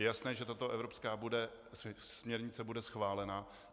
Je jasné, že tato evropská směrnice bude schválena.